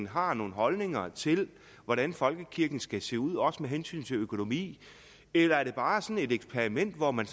har nogle holdninger til hvordan folkekirken skal se ud også med hensyn til økonomi eller er det bare sådan et eksperiment hvor man